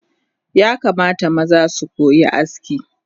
Yakamata maza sukoyi aski